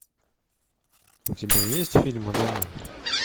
у тебя есть фильм аноним